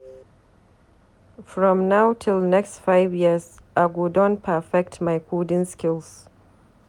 From now till next five years, I go don perfect my coding skills.